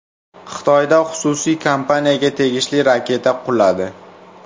Xitoyda xususiy kompaniyaga tegishli raketa quladi.